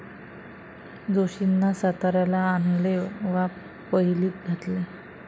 जोशींना साताऱ्याला आणले वा पहिलीत घातले.